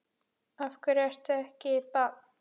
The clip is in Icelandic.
Af hverju ekki bann?